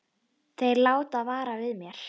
Þeir láta vara við mér.